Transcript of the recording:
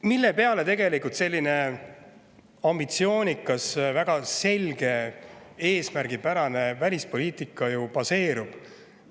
Millel selline ambitsioonikas, väga selge ja eesmärgipärane välispoliitika tegelikult baseerub?